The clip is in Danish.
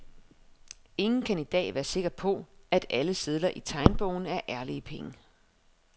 Ingen kan i dag være sikker på, at alle sedler i tegnebogen er ærlige penge.